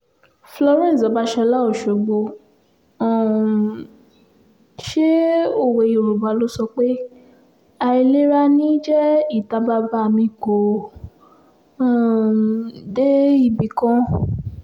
florence babasola ọ̀ṣọ́gbó um ṣe òwe yorùbá ló sọ pé àìlera ní í jẹ́ ìta bàbá mi kò um dé ibì kan